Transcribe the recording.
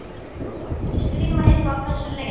Hún skrifar eitthvað á þessa leið